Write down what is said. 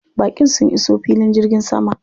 Baƙin sun iso filin jirgin sama.